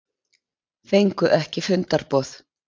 Fengu ekki fundarboð